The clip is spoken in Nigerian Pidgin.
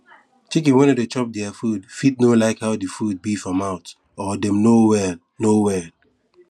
chicken wey no dey chop dere food fit no like how di food be for mouth or dem no well no well